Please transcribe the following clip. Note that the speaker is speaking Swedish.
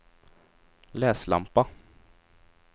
läslampa